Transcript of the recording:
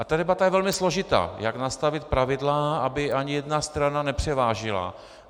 A ta debata je velmi složitá, jak nastavit pravidla, aby ani jedna strana nepřevážila.